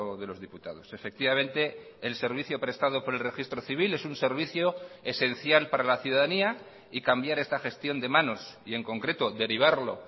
de los diputados efectivamente el servicio prestado por el registro civil es un servicio esencial para la ciudadanía y cambiar esta gestión de manos y en concreto derivarlo